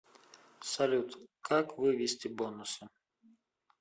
салют как вывести бонусы